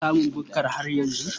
Ana samun bukka har yanzu.